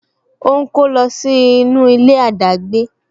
O ń kó lọ sí inú ilé adagbe